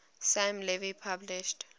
sam levy published